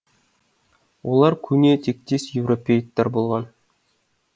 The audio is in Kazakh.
олар көне тектес европеоидтер болған